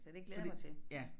Så det glæder jeg mig til